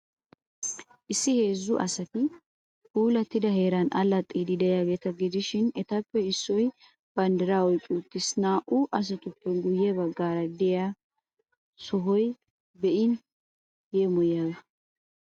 Issi heezzu asati puulattida heeran allaxxiiddi de'iyaageeta gidishin, etappe issoy banddiraa oyqqi uttiis. naa''u asatuppe guyye baggaara de'iyaa sohoy be'in be'in yeemoyiyaaga.